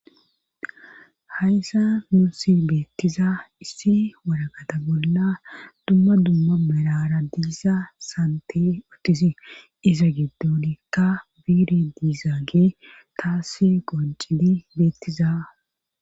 hayssa nunsi beettiza issi waragata bolla dumma dumma mirara diisa sante uttisi iza giddonikka biire diizaage taasse qoncidi beettiza